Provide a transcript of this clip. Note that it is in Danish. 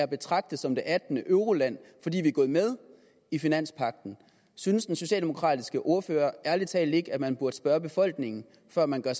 betragtet som det attende euroland fordi vi er gået med i finanspagten synes den socialdemokratiske ordfører ærlig talt ikke at man burde spørge befolkningen før man gør